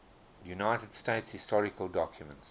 united states historical documents